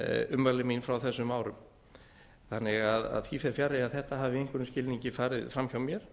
ummæli mín frá þessum árum þannig að því fer fjarri að þetta hafi með einhverjum skilningi farið fram hjá mér